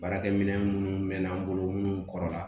Baarakɛ minɛn munnu mɛn'an bolo munnu kɔrɔ la